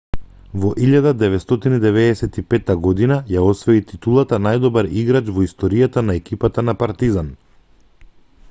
во 1995 година ја освои титулата најдобар играч во историјата на екипата на партизан